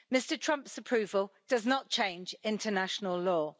Mr Trump's approval does not change international law.